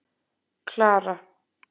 Klara